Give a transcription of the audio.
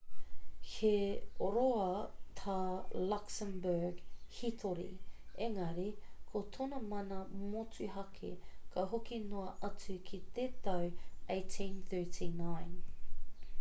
he roa tā luxembourg hītori engari ko tōna mana motuhake ka hoki noa atu ki te tau 1839